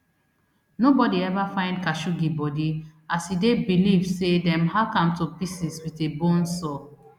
nobody ever find khashoggi body e dey believed say dem hack am to pieces wit a bone saw